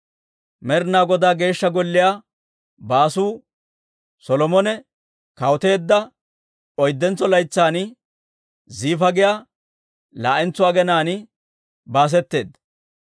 Med'inaa Godaa Geeshsha Golliyaa baasuu Solomone kawuteedda oyddentsa laytsan, Ziifa giyaa laa'entso aginaan baasetteedda.